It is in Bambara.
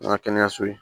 An ka kɛnɛyaso ye